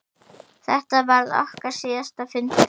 Þetta varð okkar síðasti fundur.